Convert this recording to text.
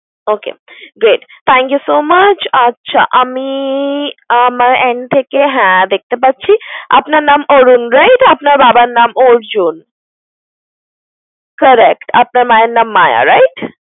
Okay great, thank you so much । আচ্ছা আমি আমার end থেকে হ্যাঁ দেখতে পাচ্ছি আপনার নাম অরুন রায়, এটা আপনার বাবার নাম অর্জুন correct আপনার মায়ের নাম মায়া right?